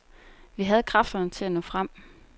Vi havde kræfterne til at nå frem.